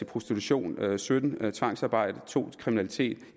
prostitution sytten i tvangsarbejde to involveret i kriminalitet